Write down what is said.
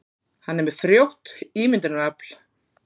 Hann er með frjótt ímyndunarafl.